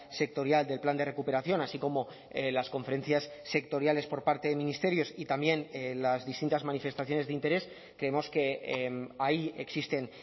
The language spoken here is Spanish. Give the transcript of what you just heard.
sectorial del plan de recuperación así como las conferencias sectoriales por parte de ministerios y también las distintas manifestaciones de interés creemos que ahí existen